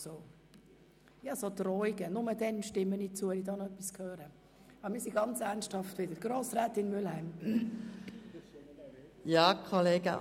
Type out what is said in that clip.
Und auf solche Drohungen gehen wir eigentlich hier im Grossen Rat nicht ein, Herr Grossrat Siegenthaler.